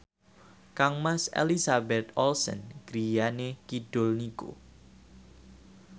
kangmas Elizabeth Olsen griyane kidul niku